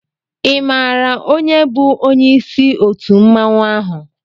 I mààra onye bu onyé isi òtú mmanwu áhù?